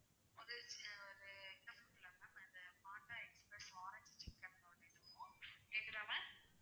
அது ஆஹ் ஒரு இந்த food ல ma'am ஆரஞ்சு சிக்கன் noodles இதுவும் கேக்குதா ma'am